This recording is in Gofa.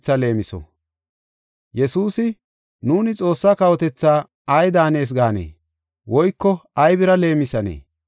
Yesuusi, “Nuuni Xoossaa kawotethaa ay daanees gaanee? Woyko aybira leemisanee?